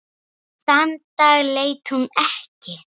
Þann dag leit hún ekki.